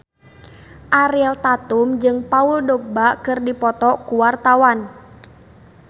Ariel Tatum jeung Paul Dogba keur dipoto ku wartawan